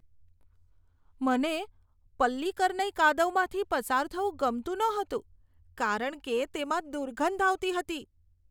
મને પલ્લીકરનઈ કાદવમાંથી પસાર થવું ગમતું નહોતું કારણ કે તેમાં દુર્ગંધ આવતી હતી.